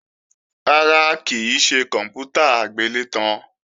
Rárá, kì í ṣe kòǹpútà agbélétan